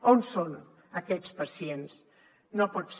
on són aquests pacients no pot ser